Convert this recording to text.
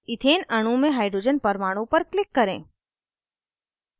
ethane अणु में hydrogen परमाणु पर click करें